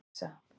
Elísa